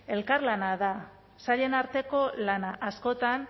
elkarlana da sailen arteko lana askotan